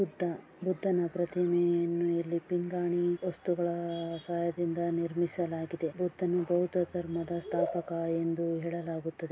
ಬುದ್ಧ ಬುದ್ಧನ ಪ್ರತಿಮೆಯನ್ನು ಇಲ್ಲಿ ಪಿಂಗಾಣಿ ವಸ್ತುಗಳ ಸಹಾಯದಿಂದ ನಿರ್ಮಿಸಲಾಗಿದೆ. ಬುದ್ಧನು ಬೌದ್ಧ ಧರ್ಮದ ಸ್ಥಾಪಕ ಎಂದು ಹೇಳಲಾಗುತ್ತದೆ.